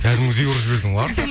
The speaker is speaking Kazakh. кәдімгідей ұрып жібердің ғой